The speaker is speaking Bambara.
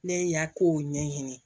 Ne y'a kow ɲɛɲini